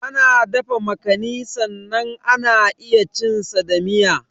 Ana dafa makani sannan ana iya cin sa da miya.